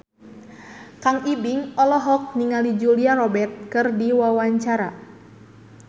Kang Ibing olohok ningali Julia Robert keur diwawancara